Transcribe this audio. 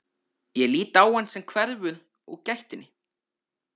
Ég lít á hann sem hverfur úr gættinni.